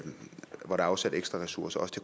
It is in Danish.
afsat ekstra ressourcer